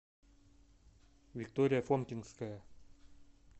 виктория фомкинская